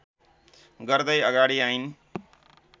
गर्दै अगाडि आइन्